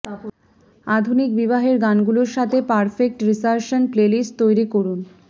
আধুনিক বিবাহের গানগুলির সাথে পারফেক্ট রিসার্শন প্লেলিস্ট তৈরি করুন